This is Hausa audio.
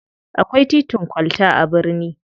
Akwai titin kwalta a birni.